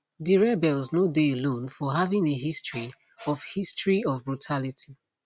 di rebels no dey alone for having a history of history of brutality